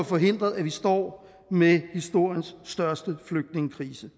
forhindret at vi står med historiens største flygtningekrise